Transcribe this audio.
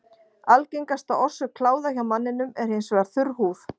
Algengasta orsök kláða hjá manninum er hins vegar þurr húð.